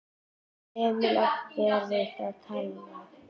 Emil átti erfitt með að tala.